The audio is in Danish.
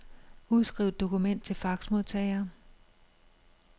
Udskriv dokument til faxmodtager.